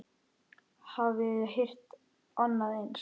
Hafiði heyrt annað eins?